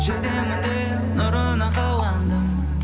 жетемін деп нұрына қаландым